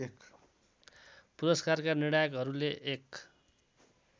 पुरस्कारका निर्णायकहरूले एक